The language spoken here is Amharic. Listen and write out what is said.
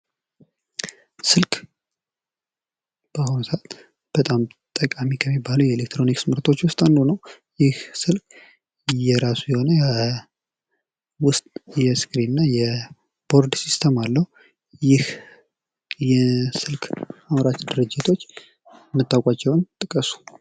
ስልክ ፦ በአሁኑ ሰዓት በጣም ጠቃሚ ከሚባሉ የኤሌክትሮኒክስ ምርቶች ውስጥ አንዱ ነው ። ይህ ስልክ የራሱ የሆነ ውስጥ የስክሪንና የቦርድ ሲስተም አለው። ይህ የስልክ አምራች ድርጅቶች የምታውቋቸውን ጥቀሱ ?